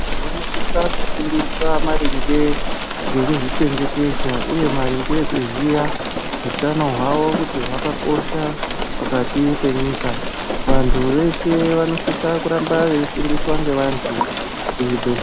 Vanosisa kufundiswa maringe ngekuzvichengetedza uye maringe ekuziya utano hwawo kuti hwakakosha pakati penyika. Vantu veshe vanosisa kuramba veifundiswa ngevantu kuzvibhe...